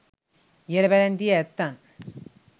ඉහළ පැලැන්තියේ ඇත්තන්